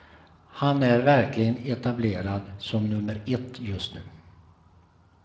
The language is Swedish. Han är verkligen etablerad som nummer ett just nu.